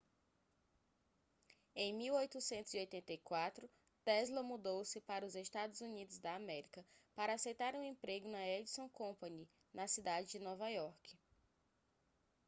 em 1884 tesla mudou-se para os estados unidos da américa para aceitar um emprego na edison company na cidade de nova iorque